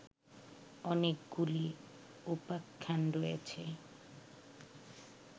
অনেকগুলি উপাখ্যান রয়েছে